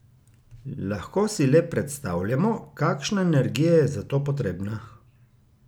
Lahko si le predstavljamo, kakšna energija je za to potrebna!